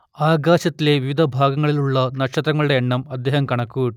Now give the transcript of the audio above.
ആകാശത്തിലെ വിവിധ ഭാഗങ്ങളിലുള്ള നക്ഷത്രങ്ങളുടെ എണ്ണം അദ്ദേഹം കണക്കുകൂ